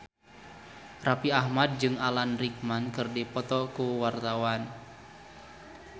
Raffi Ahmad jeung Alan Rickman keur dipoto ku wartawan